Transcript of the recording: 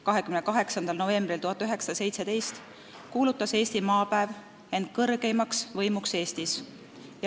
28. novembril 1917. aastal kuulutas Eesti Maapäev end kõrgeimaks võimuks Eestis.